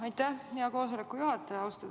Aitäh, hea koosoleku juhataja!